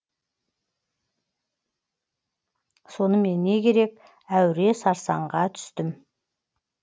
сонымен не керек әуре сарсаңға түстім